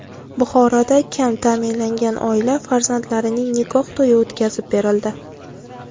Buxoroda kam ta’minlangan oila farzandlarining nikoh to‘yi o‘tkazib berildi.